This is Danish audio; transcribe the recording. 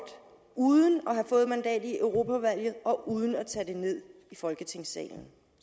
uden at have fået mandat i europaudvalget og uden at tage det ned i folketingssalen